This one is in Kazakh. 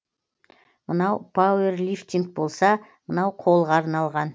мынау пауэрлифтинг болса мынау қолға арналған